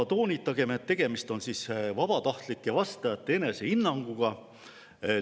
Toonitagem, et tegemist on vabatahtlike vastajate enesehinnanguga.